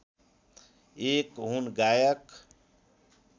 एक हुन् गायक